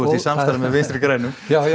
í samstarfi með Vinstri grænum